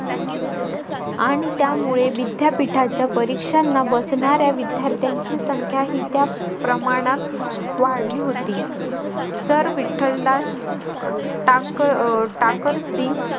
आणि त्यामुळे विद्यापीठाच्या परीक्षांना बसणाऱ्या विद्यार्थ्यांची संख्या ही त्या प्रमाणात वाढली होती. सर विठ्ठलदास टाकर टाकरसी